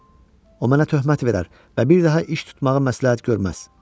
O mənə töhmət verər və bir daha iş tutmağı məsləhət görməz.